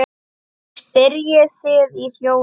spyrjið þið í hljóði.